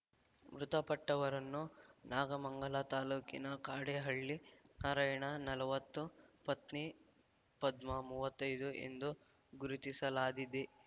ಮೃತಪಟ್ಟವರನ್ನು ನಾಗಮಂಗಲ ತಾಲ್ಲೂಕಿನ ಕಾಡೇನಹಳ್ಳಿ ನಾರಾಯಣ ನಲವತ್ತು ಪತ್ನಿ ಪದ್ಮ ಮುವ್ವತೈದು ಎಂದು ಗುರುತಿಸಲಾದಿದೆ